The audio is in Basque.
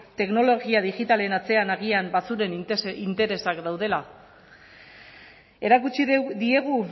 teknologia digitalen atzean agian batzuen interesak daudela erakutsi diegu